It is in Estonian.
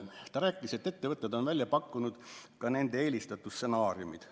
Ta rääkis, et ettevõtted on välja pakkunud ka nende eelistatud stsenaariumid.